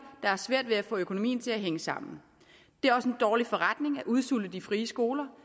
der har svært ved at få økonomien til at hænge sammen det er også en dårlig forretning at udsulte de frie skoler